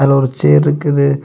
அதுல ஒரு சேர் இருக்குது.